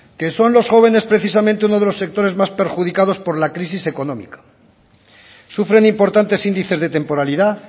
que son los jóvenes precisamente uno de los sectores más perjudicados por la crisis económica sufren importantes índices de temporalidad